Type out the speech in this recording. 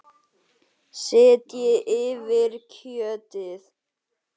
Setjið yfir kjötið.